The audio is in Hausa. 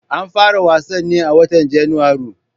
An fara wasan ne a watan Janairu